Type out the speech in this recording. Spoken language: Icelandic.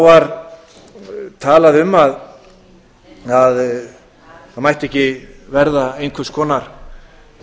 var talað um að það mætti ekki verða einhvers konar